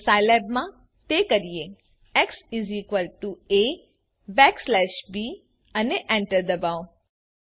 ચાલો સાઈલેબમાં તે કરીએ એક્સ Ab અને એન્ટર ડબાઓ